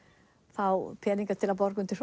fá peninga til að borga undir